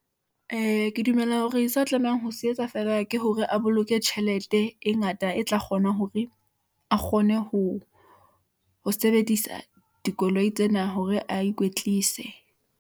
Ee ke dumela hore sa tlamehang ho se etsa feela, ke hore a boloke tjhelete e ngata e tla kgona hore a kgone ho sebedisa dikoloi tsena hore a ikwetlise.